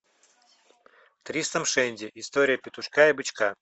тристрам шенди история петушка и бычка